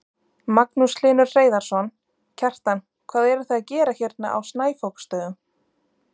Magnús Hlynur Hreiðarsson: Kjartan hvað eruð þið að gera hérna á Snæfoksstöðum?